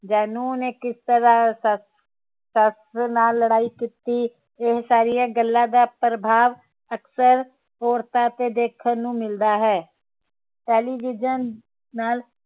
ਜਾ ਨੂੰਹ ਨੇ ਕਿਸ ਤਰਾਹ ਸੱਸ ਸੱਸ ਨਾਲ ਲੜਾਈ ਕੀਤੀ ਇਹ ਸਾਰੀਆਂ ਗੱਲਾਂ ਦਾ ਪ੍ਰਭਾਵ ਅਕਸਰ ਔਰਤਾਂ ਤੇ ਦੇਖਣ ਨੂੰ ਮਿਲਦਾ ਹੈ ਟੈਲੀਵਿਜ਼ਨ ਨਾਲ